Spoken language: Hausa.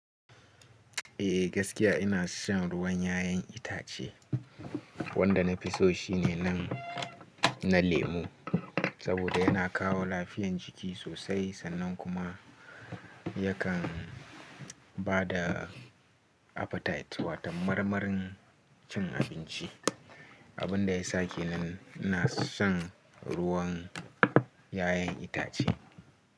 Eh gaskiya ina shan ruwan 'ya'yan itace wanda nafi so shine nan na lemu saboda yana kawo lafiyan jiki sosai sannan kuma yakan bada appetite wato marmarin cin abinci. Abin da ya sake nan ina shan ruwan 'ya'yan itace.